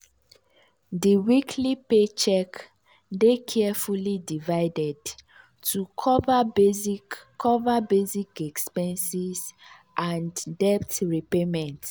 di weekly paycheck dey carefully divided to cover basic cover basic expenses and debt repayment.